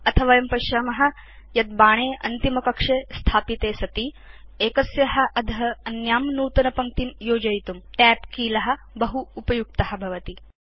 अथ वयं पश्याम यत् बाणे अन्तिमकक्षे स्थापिते सति एकस्या अध अन्यां नूतनपङ्क्तिं योजयितुं Tab कील बहु उपयुक्त भवति